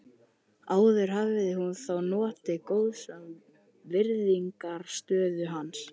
Áður hafði hún þó notið góðs af virðingarstöðu hans.